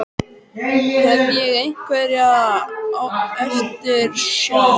Hef ég einhverja eftirsjá?